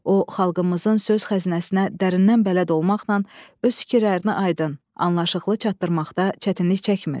O xalqımızın söz xəzinəsinə dərindən bələd olmaqla öz fikirlərini aydın, anlaşılıqlı çatdırmaqda çətinlik çəkmir.